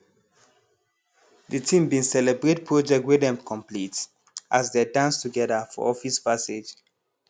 de team bin celebrate project wey dem complete as dey dance together for office passage